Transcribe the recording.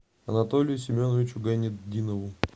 анатолию семеновичу гайнетдинову